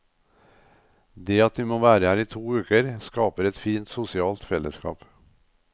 Det at vi må være her i to uker, skaper et fint sosialt fellesskap.